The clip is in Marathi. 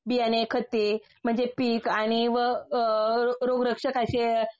बियाणे खतें म्हणजे पीक आणि व अ रोगरक्षकाचे